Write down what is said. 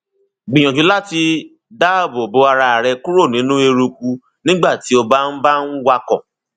gbìyànjú láti dáàbò bo ara rẹ kúrò nínú eruku nígbà tí o bá ń bá ń wakọ